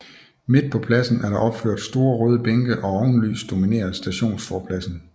Midt på pladsen er der opført store røde bænke og ovenlys dominerer stationsforpladsen